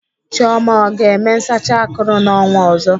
Chioma ọ ga-eme nsacha akụrụ n'ọnwa ọzọ?